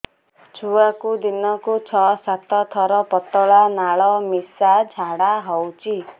ଛୁଆକୁ ଦିନକୁ ଛଅ ସାତ ଥର ପତଳା ନାଳ ମିଶା ଝାଡ଼ା ହଉଚି